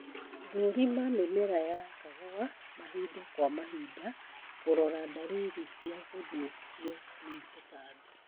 Thũrima mĩmera ya kahũa mahinda kwa mahinda kũrora dalili cia gũthũkio ni tũtambi